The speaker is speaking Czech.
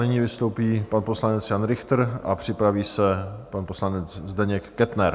Nyní vystoupí pan poslanec Jan Richter a připraví se pan poslanec Zdeněk Kettner.